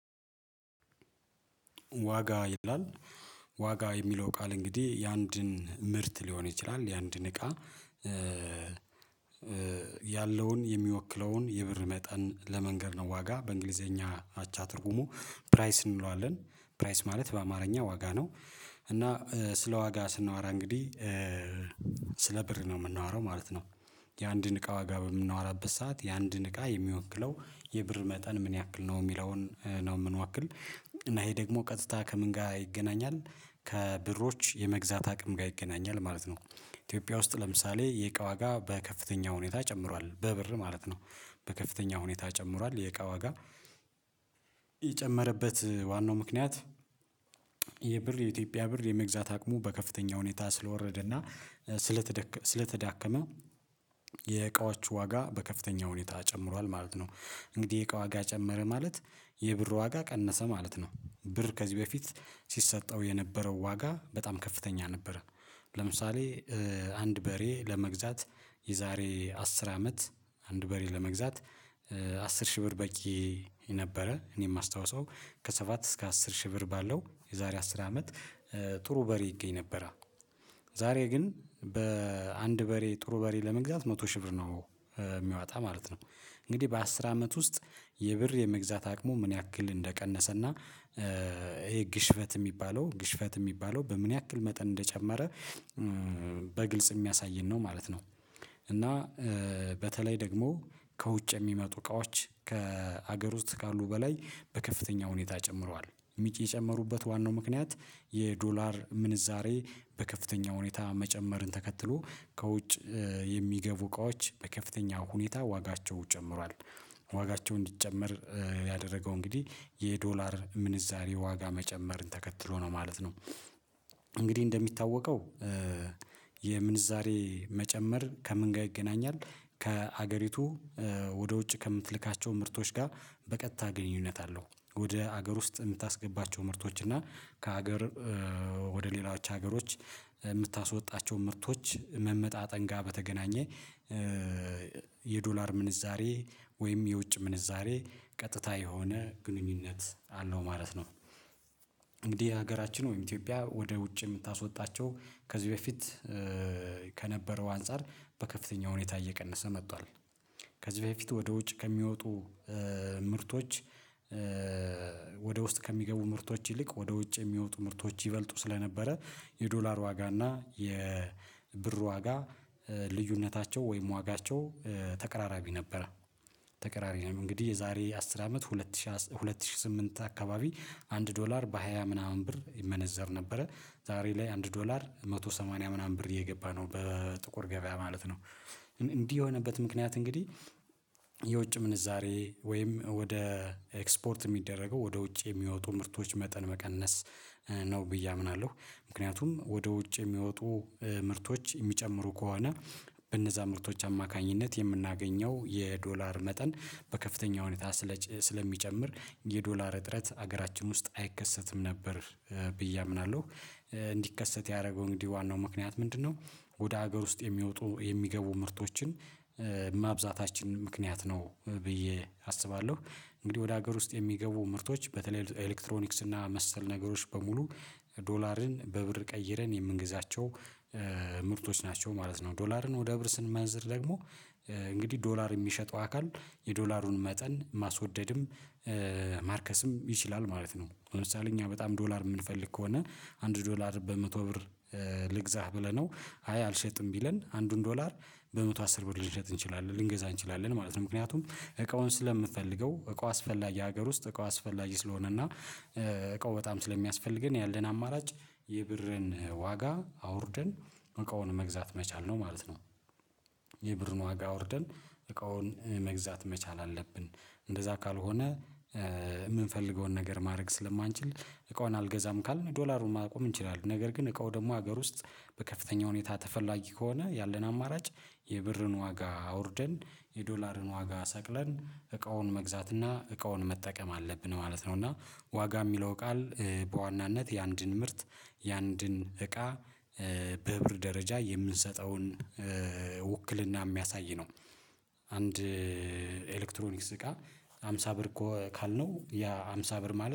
ዋጋ ይላል ዋጋ የሚለው ቃል እንግዲህ የአንድን ምርት ሊሆን ይችላል የአንድን እቃ ያለውን የሚወክለውን የብር መጠን ለመንገር ነው። ዋጋ በእንግሊዘኛ አቻ ትርጉሙ ፕራይስ እንለዋለን ፕራይስ ማለት በአማርኛ ዋጋ ነው። እና ስለዋጋ ስናወራ እንግዲህ ስለ ብር ነው የምናወራው ማለት ነው። የአንድን እቃ ዋጋ በምናወራበት ሰዓት የአንድን እቃ የሚወክለው የብር መጠን ምን ያክል ነው እሚለውን ነው እምንወክል። እና ይሄ ደግሞ ቀጥታ ከምን ጋር ይገናኛል ከብሮች የመግዛት አቅም ጋር ይገናኛል ማለት ነው። ኢትዮጵያ ውስጥ ለምሳሌ የእቃ ዋጋ በከፍተኛ ሁኔታ ጨምሯል በብር ማለት ነው። በከፍተኛ ሁኔታ ጨምሯል የእቃ ዋጋ ዋናው ምክንያት የብር የኢትዮጵያ ብር የመግዛት አቅሙ በከፍተኛ ሁኔታ ስለወረደ እና ስለተዳከመ የእቃዎቹ ዋጋ በከፍተኛ ሁኔታ ጨምሯል ማለት ነው። እንግዲህ የቅዋጋ ጨመረ ማለት የብር ዋጋ ቀነሰ ማለት ነው። ብር ከዚህ በፊት ሲሰጠው የነበረው ዋጋ በጣም ከፍተኛ ነበር። ለምሳሌ አንድ በሬ ለመግዛት የዛሬ አስር አመት አንድ በሬ ለመግዛት አስር ሺህ ብር በቂ ነበረ እኔ እማስታውሰው ከሰባት እስከ አስር ሺህ ብር ባለው የዛሬ አስር አመት ጥሩ በሬ ይገኝ ነበረ። ዛሬ ግን በአንድ በሬ ጥሩ በሬ ለመግዛት መቶ ሺህ ብር ነው እሚያወጣ ማለት ነው። እንግዲህ በአስር አመት ውስጥ የብር የመግዛት አቅሙ ምን ያክል እንደቀነሰና ይሄ ግሽፈት እሚባለው ግሽፈት እሚባለው በምን ያክል መጠን እንደጨመረ በግልጽ እሚያሳየን ነው ማለት ነው። እና በተለይ ደግሞ ከውጭ የሚመጡ እቃዎች ከሀገር ውስጥ ካሉ በላይ በከፍተኛ ሁኔታ ጨምሯል። የጨመሩበት ዋናው ምክንያት የዶላር ምንዛሬ በከፍተኛ ሁኔታ መጨመርን ተከትሎ ከውጭ የሚገቡ እቃዎች በከፍተኛ ሁኔታ ዋጋቸው ጨምሯል። ዋጋቸው እንዲጨመር ያደረገው እንግዲህ የዶላር ምንዛሬ ዋጋ መጨመርን ተከትሎ ነው ማለት ነው። እንግዲህ እንደሚታወቀው የምንዛሬ መጨመር ከምን ጋር ይገናኛል? ከሀገሪቱ ወደ ውጭ ከምትልካቸው ምርቶች ጋር በቀጥታ ግንኙነት አለው። ወደ ሀገር ውስጥ እምታስገባቸው ምርቶች እና ከሀገር ወደ ሌሎዎች ሀገሮች እምታስወጣቸው ምርቶች መመጣጠን ጋር በተገናኘ የዶላር ምንዛሬ ወይም የውጭ ምንዛሬ ቀጥታ የሆነ ግንኙነት አለው ማለት ነው። እንግዲህ ሀገራችን ኢትዮጵያ ወደ ውጭ የምታስወጣቸው ከዚህ በፊት አንፃር በከፍተኛ ሁኔታ እየቀነሰ መጥቷል። ከዚህ በፊት ወደ ውጭ ከሚወጡ ምርቶች ወደ ውስጥ ከሚገቡ ምርቶች ይልቅ ወደ ውጭ የሚወጡ ምርቶች ይበልጡ ስለነበረ። የዶላር ዋጋ እና የብር ዋጋ ልዩነታቸው ወይም ዋጋቸው ተቀራራቢ ነበረ። ተቀራራቢ ነው እንግዲህ የዛሬ አስር አመት ሁለት ሺህ ሁለት ሺህ ስምንት አካባቢ አንድ ዶላር በሃያ ምናምን ብር ይመነዘር ነበረ ዛሬ ላይ አንድ ዶላር አንድ መቶ ሰማኒያ ምናምን ብር እየገባነው በጥቁር ገበያ ማለት ነው። እንዲህ የሆነበት ምክንያት እንግዲህ የውጭ ምንዛሬ ወይም ወደ ኤክስፖርት እሚደረገው ወደ ውጭ የሚወጡ ምርቶች መጠን መቀነስ ነው ብዬ አምናለሁ። ምክንያቱም ወደ ውጭ የሚወጡ ምርቶች እሚጨምሩ ከሆነ በእነዛ ምርቶች አማካኝነት የምናገኘው የዶላር መጠን በከፍተኛ ሁኔታ ስለሚጨምር የዶላር እጥረት ሀገራችን ውስጥ አይከሰትም ነበር። ብዬ አምናለሁ። እንዲከሰት ያደረገው እንግዲህ ዋናው ምክንያት ምንድነው? ወደ ሀገር ውስጥ የሚወጡ የሚገቡ ምርቶችን ማብዛታችን ምክንያት ነው ብዬ አስባለሁ። እንግዲህ ወደ ሀገር ውስጥ የሚገቡ ምርቶች በተለይ ኤሌክትሮኒክስ እና መሰል ነገሮች በሙሉ ዶላርን በብር ቀይረን የምንግዛቸው ምርቶች ናቸው ማለት ነው። ዶላርን ወደ ብር ስንመንዝር ደግሞ እንግዲህ ዶላር እሚሸጠው አካል የዶላሩን መጠን ማስወደድም ማርከስም ይችላል ማለት ነው። ለምሳሌ እኛ በጣም ዶላር እምንፈልግ ከሆነ አንድ ዶላር በመቶ ብር ልግዛህ ብለነው አይ አልሸጥም ቢለን አንዱን ዶላር በመቶ አስር ብር ልንገዛ እንችላለን ልንገዛ እንችላለን ማለት ነው። ምክንያቱም እቃውን ስለምንፈልገው እቃ አስፈላጊ ሀገር ውስጥ እቃ አስፈላጊ ስለሆነ እና እቃው በጣም ስለሚያስፈልገን ያለን አማራጭ የብርን ዋጋ አውርደን እቃውን መግዛት መቻል ነው ማለት ነው። የብርን ዋጋ አውርደን እቃውን መግዛት መቻል አለብን። እንደዛ ካልሆነ እምንፈልገውን ነገር ማድረግ ስለማንችል እቃውን አልገዛም ካልን ዶላሩን ማቆም እንችላለን ነገር ግን እቃው ደግሞ ሀገር ውስጥ በከፍተኛ ሁኔታ ተፈላጊ ከሆነ ያለን አማራጭ የብርን ዋጋ አውርደን የዶላርን ዋጋ ሰቅለን እቃውን መግዛት እና እቃውን መጠቀም አለብን ማለት ነው። እና ዋጋ እሚለው ቃል በዋናነት የአንድን ምርት የአንድን እቃ በብር ደረጃ የምንሰጠውን ውክልና እሚያሳይ ነው። አንድ ኤሌክትሮኒክስ ጋር አምሳ ብር ካልነው ያ አምሳ ብር ማለት